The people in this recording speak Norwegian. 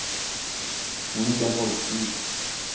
Monica Holten